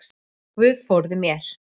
Guð forði mér.